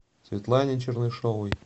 светлане чернышевой